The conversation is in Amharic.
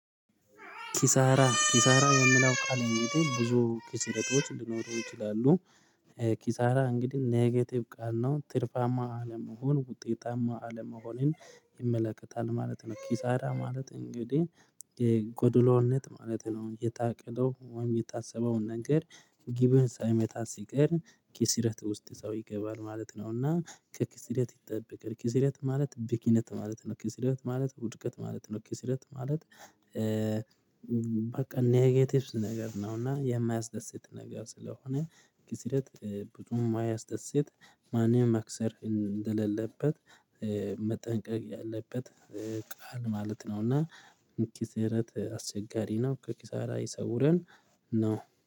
ኪሳራ ኪሳራ የሚለው ቃል እንግዲህ ብዙ ኪስረቶች ሊሆኑ ይችላሉ። ኪሳራ እንግዲህ ኔጌቲቭ ቃል ነው ትርፋማ አለመሆን ውጤታማ አለመሆንን ይመለከታል ማለት ነው። ኪሳራ ማለት እንግዲህ ጎዶሎነት ማለት ነው። የታቀደው ወይም የታሰበውን ነገር ጊቡን ሳይመታ ሲቀር ኪስረት ውስጥ ሰው ይገባል ማለት ነውና። ከኪስረት ይጠብቀን ኪስረት ማለት ቢክነት ማለት ነው። ኪስረት ማለት ውድቀት ማለት ነው። ኪስረት ማለት በቃ ኔጌቲቭስ ነገር ነው። እና የማያስደስት ነገር ስለሆነ ኪስረት ብዙም ማያስደስት ማንም መክሰር እንደሌለበት መጠንቀቅ ያለበት ቃል ማለት ነው። እና እንኪስረት አስቸጋሪ ነው። ከኪሳራ ይሰውረን ነው